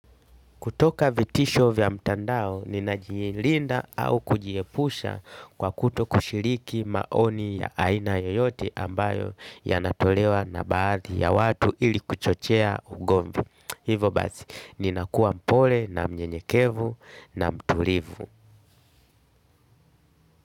Kutoka vitisho vya mtandao, ninajiilinda au kujiepusha kwa kutokushiriki maoni ya aina yoyote ambayo yanatolewa na baadhi ya watu ili kuchochea ugomvi. Hivyo basi, ninakua mpole na mnyenyekevu na mtulivu.